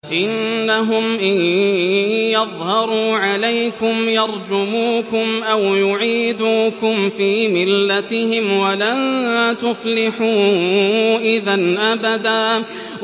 إِنَّهُمْ إِن يَظْهَرُوا عَلَيْكُمْ يَرْجُمُوكُمْ أَوْ يُعِيدُوكُمْ فِي مِلَّتِهِمْ وَلَن تُفْلِحُوا إِذًا أَبَدًا